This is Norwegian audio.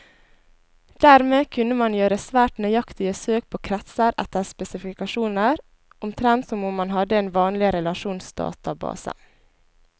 Dermed kunne man gjøre svært nøyaktige søk på kretser etter spesifikasjoner, omtrent som om man hadde en vanlig relasjonsdatabase.